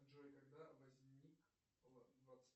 джой когда возник